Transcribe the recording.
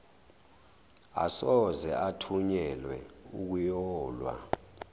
asoze athunyelwe ukuyolwa